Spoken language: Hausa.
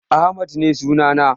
Ahmad ne sunana.